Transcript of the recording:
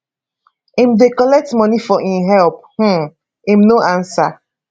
im dey collect money for im help um im no ansa